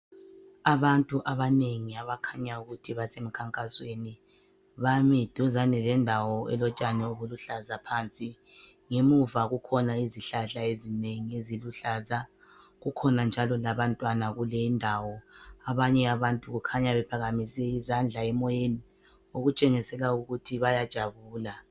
Abantu abanengi abakhanya ukuthi basemkhankasweni. Bami duzane lendawo elotshani obuluhlaza phansi. Ngemuva kukhona izihlahla ezinengi eziluhlaza. Kukhona njalo labantwana kule indawo. Abanye abantu kukhanya bephakamise izandla emoyeni okutshengisela ukuthi bayajabula.